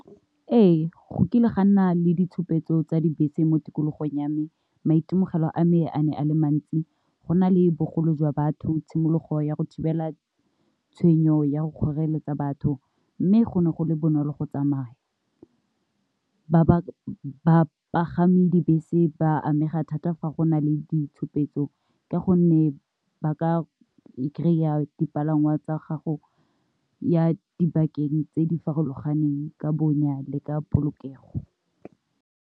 Ee, go kile ga nna le ditshupetso tsa dibese mo tikologong ya me maitemogelo a me a ne a le mantsi, go na le bogolo jwa batho tshimologo ya go thibela tshwenyo ya go kgoreletsa batho, mme go ne go le bonolo go tsamaya. Bapagami dibese ba amega thata fa go na le ditshupetso ka gonne ba ka kry-a dipalangwa tsa go ya dibakeng tse di farologaneng ka bonya le ka polokego.